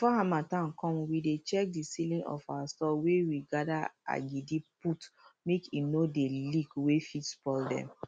before harmattan come we dey check the ceiling of our store wey we gather agidi put make e no dey leak wey fit spoil dem